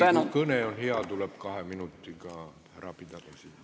Isegi kui kõne on hea, tuleb kahe minutiga ära pidada.